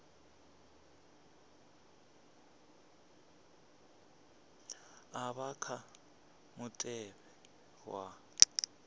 a vha kha mutevhe wa